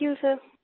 thank you सिर